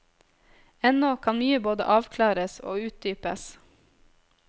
Ennå kan mye både avklares og utdypes.